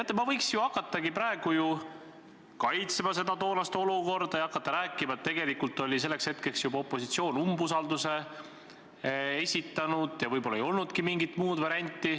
Teate, ma võiks ju hakata selgitama toonast olukorda ja rääkida, et tegelikult oli selleks hetkeks opositsioon juba umbusaldusavalduse esitanud ja võib-olla ei olnudki mingit muud varianti.